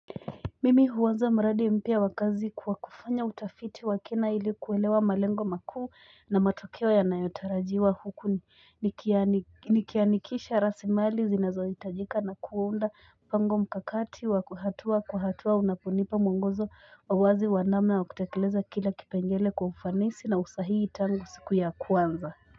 Mimi huanza mradi mpya wakazi kwa kufanya utafiti wakina iliku elewa malengo makuu na matokeo yanayo tarajiwa huku nikianikisha rasi mali zinazo itajika na kuunda mpango mkakati wa hatua kwa hatua unaponipa muongozo wa wazi wanamna wa kutekeleza kila kipengele kwa ufanisi na usahii tangu siku ya kwanza.